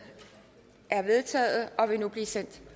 er vedtaget og vil nu blive sendt